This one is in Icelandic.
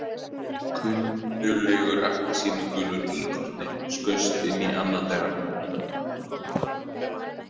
Kunnuglegur appelsínugulur íkorni skaust inn í annað þeirra.